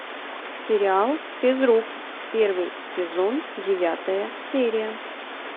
сериал физрук первый сезон девятая серия